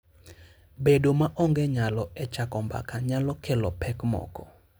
Bedo maonge lony e chako mbaka nyalo kelo pek moko.